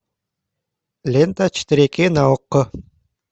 лента четыре кей на окко